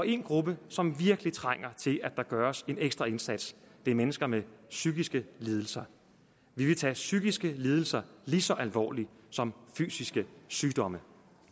en gruppe som virkelig trænger til at der gøres en ekstra indsats er mennesker med psykiske lidelser vi vil tage psykiske lidelser lige så alvorligt som fysiske sygdomme